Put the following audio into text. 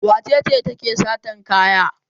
Wace ce take satan kaya?